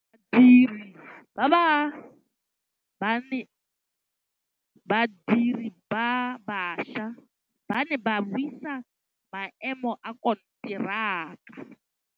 Badiri ba baša ba ne ba buisa maêmô a konteraka.